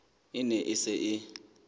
e ne e se e